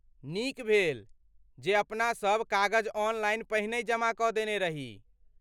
नीक भेल जे अपनासभ कागज ऑनलाइन पहिनहि जमा कऽ देने रही।